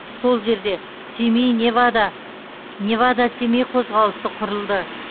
сол жерде семей невада невада семей қозғалысы құрылды